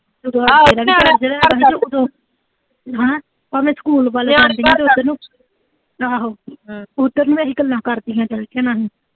ਅਹ school ਵੱਲ ਜਾਣ ਡਈ ਸੀ, ਉਧਰ ਨੂੰ ਆਹੋ ਇਹੀ ਗੱਲਾਂ ਕਰਦੀ ਆ ਆਲੀਆਂ